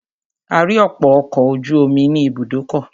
A rí ọ̀pọ̀ ọkọ̀ ojú omi ní ibùdókọ̀.